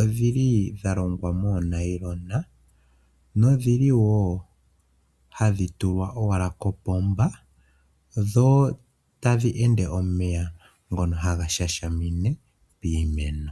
odhi li dha longwa moonayilona nodhi li wo hadhi tulwa owala kopomba, dho tadhi ende omeya ngono haga shashamine iimeno.